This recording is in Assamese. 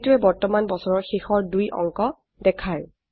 এইটোৱে বৰ্তমান বছৰৰ শেষৰ দুই অংক দেখায়